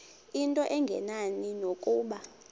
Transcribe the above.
into engenani nokuba